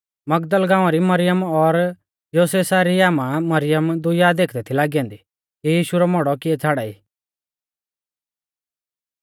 मगदल गाँवा री मरियम और योसेसा री आमा मरियम दुइया देखदै थी लागी औन्दी कि यीशु रौ मौड़ौ किऐ छ़ाड़ाई